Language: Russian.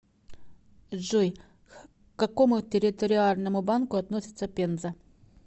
джой к какому территориальному банку относится пенза